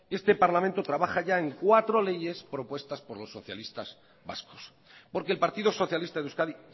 este parlamento trabaja ya en cuatro leyes propuestas por los socialistas vascos porque el partido socialista de euskadi